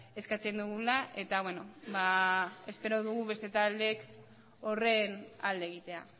eskatzen dugula eta beno espero dugu beste taldeek horren alde egitea